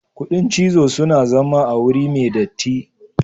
Kudin cizo suna zama a wuri me datti.